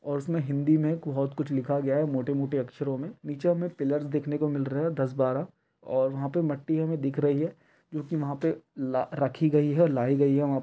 और उसमें हिंदी में बहुत कुछ लिखा गया हैं मोटे -मोटे अक्षरों में नीचे हमें पिल्लर्स देखने को मिल रहे है दस बारह और यहाँ पे मट्टी हमें दिख रही है जो कि वहाँ पे ल रखी गई है लायी गयी हैं वहाँ --